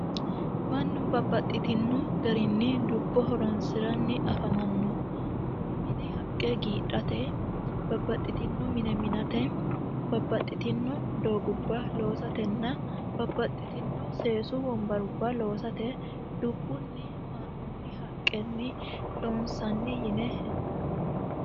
mannu babbaxxitinno garinni dubbo horonsi'ranni afamanno umihuni haqqe giidhate babbaxxitinno mine mi'nate babbaxxitinno doogubba loosatenna babbaxxitinno seesu wombarubba loosate dubbunni haa'noonni haqqenni loonsanni yine hendanni